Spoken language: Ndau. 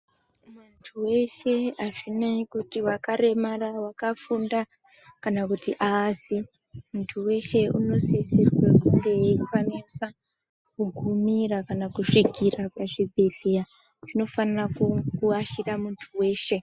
Muntu weshe azvinei kuti wakaremara, wakafunda kana kuti aazi. Muntu weshe unosisire kukwanisa kugumira kana kusvikira zvibhedhlera zvinofanira kuashira muntu weshe.